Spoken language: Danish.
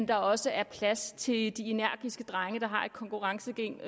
der også er plads til de energiske drenge der har et konkurrencegen